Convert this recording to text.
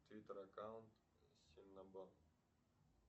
три таракана синабон